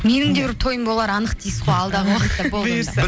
менің де бір тойым болары анық дейсіз ғой алдағы уақытты бұйырса